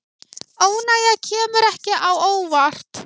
Óánægja kemur ekki á óvart